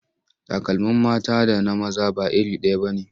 Takalmin mata da na maza ba iri ɗaya ba ne.